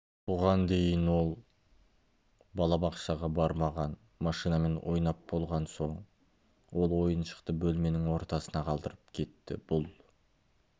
бұған дейін ол балабақшаға бармаған машинамен ойнап болған соң ол ойыншықты бөлменің ортасына қалдырып кетті бұл